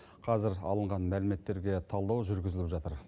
қазір алынған мәліметтерге талдау жүргізіліп жатыр